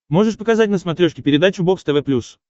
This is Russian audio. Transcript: можешь показать на смотрешке передачу бокс тв плюс